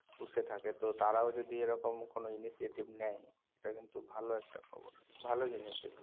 পুষে থাকে তো তারাও যদি এইরকম কোনো initiative নেয় সেটা কিন্তু ভালো একটা খবর ভালো জিনিস এগুলো